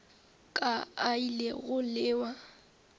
ka a ile go lewa